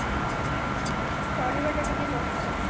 ଚାଲିବା ଟା ଟିକେ କହୁଛ